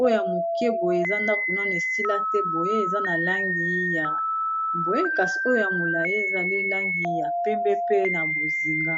oyo ya moke boye eza ndako nanu esila te boye eza na langi ya boye kasi oyo ya molai ezali langi ya pembe pe na bozinga.